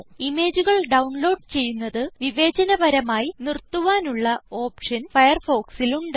ഇമേജുകൾ ഡൌൺലോഡ് ചെയ്യുന്നത് വിവേചന പരമായി നിർത്തുവാനുള്ള ഓപ്ഷൻ firefoxൽ ഉണ്ട്